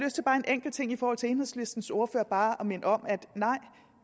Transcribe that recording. enkelt ting i forhold til enhedslistens ordfører bare at minde om at